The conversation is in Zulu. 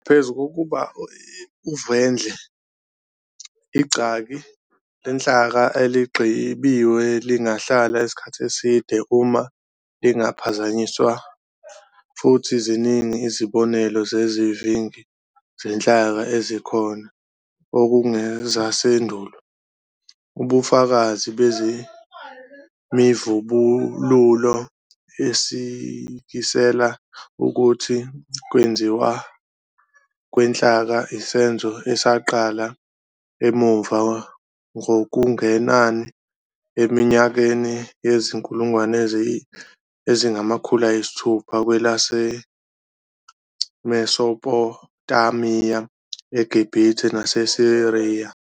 Naphezu kokuba uvendle, igcaki lenhlaka eligqibiwe lingahlala isikhathi eside uma lingaphazanyisiwe, futhi ziningi izibonelo zezivingi zenhlaka ezikhona okungezasendulo. Ubufakazi bezemivubululo isikisela ukuthi ukwenziwa kwenhlaka isenzo esaqala emuva ngokungenanai eminyakeni yezi-3,600 BC kwelaseMesopotamiya, eGibhithe naseSiriya.